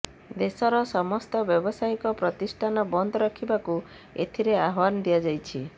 ଦେଶର ସମସ୍ତ ବ୍ୟବସାୟୀକ ପ୍ରତିଷ୍ଠାନ ବନ୍ଦ ରଖିବାକୁ ଏଥିରେ ଆହ୍ୱାନ ଦିଆଯାଇଛି